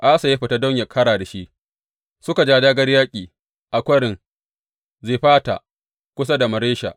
Asa ya fita don yă ƙara da shi, suka ja dāgā yaƙi a Kwarin Zefata kusa da Maresha.